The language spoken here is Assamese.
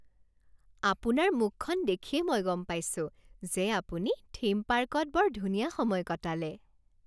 আপোনাৰ মুখখন দেখিয়েই মই গম পাইছোঁ যে আপুনি থীম পাৰ্কত বৰ ধুনীয়া সময় কটালে